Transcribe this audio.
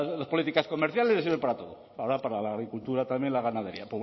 las políticas comerciales le sirve para todo ahora para la agricultura también la ganadería